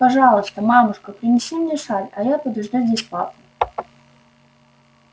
пожалуйста мамушка принеси мне шаль а я подожду здесь папу